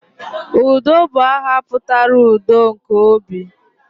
Udo I bu aha putara 'udo nke obi'